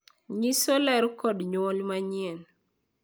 Onyiso ler kod nyuol manyien.